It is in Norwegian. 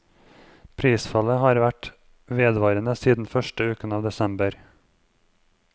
Prisfallet har vært vedvarende siden første uken av desember.